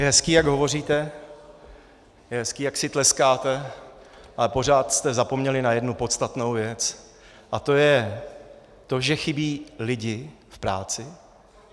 Je hezké, jak hovoříte, je hezké, jak si tleskáte, ale pořád jste zapomněli na jednu podstatnou věc, a to je to, že chybí lidé v práci.